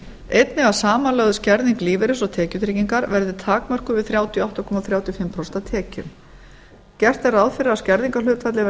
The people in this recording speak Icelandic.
einnig að samanlögð skerðing lífeyris og tekjutryggingar verði takmörkuð við þrjátíu og átta komma þrjátíu og fimm prósent af tekjum gert er ráð fyrir að skerðingarhlutfallið